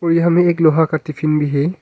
और यहां में एक लोहा का टिफिन भी है।